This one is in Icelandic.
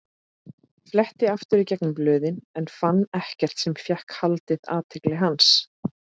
Fletti aftur í gegnum blöðin en fann ekkert sem fékk haldið athygli hans.